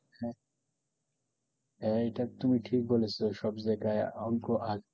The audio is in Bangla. হ্যাঁ, এটা একদম ই ঠিক বলেছো সব জায়গায় অল্প আগেই,